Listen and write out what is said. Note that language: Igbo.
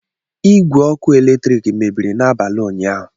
Igwe ọkụ eletrik mebiri n'abalị ụnyaahụ.